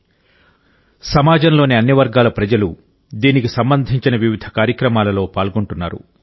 అన్ని వర్గాల ప్రజలు సమాజంలోని అన్ని వర్గాల ప్రజలు దీనికి సంబంధించిన వివిధ కార్యక్రమాలలో పాల్గొంటున్నారు